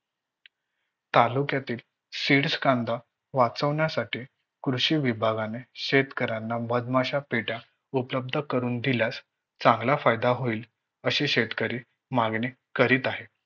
तालुक्यातील seeds कांदा वाचवण्यासाठी कृषी विभागाने मधमाशा पेट्या उपलब्ध करून दिल्यास चांगला फायदा होईल अशी शेतकरी मागणी करत आहे.